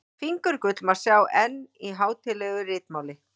Fingurgull má sjá enn í hátíðlegu ritmáli.